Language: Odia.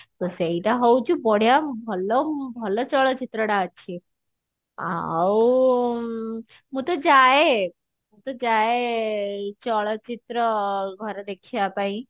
ତ ସେଇଟା ହଉଛି ବଢିଆ ଭଲ ଭଲ ଚଳଚିତ୍ରଟା actually ଆଉ ମୁଁ ତ ଯାଏ ମୁଁ ତ ଯାଏ ଚଳଚିତ୍ର ଘରେ ଦେଖିବା ପାଇଁ